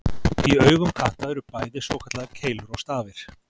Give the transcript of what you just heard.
Í augum katta eru bæði svokallaðar keilur og stafir.